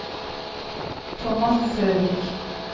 Thomas Søvik